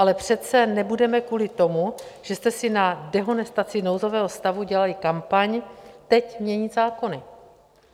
Ale přece nebudeme kvůli tomu, že jste si na dehonestaci nouzového stavu dělali kampaň, teď měnit zákony.